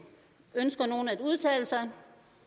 ønsker nogen at udtale sig